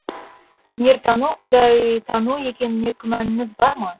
өнертану құдайтану екеніне күмәніңіз бар ма